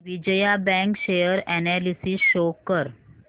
Vijaya bank share analysis show कर